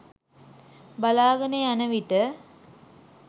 බලාගෙන යන විට